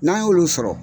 N'an y'olu sɔrɔ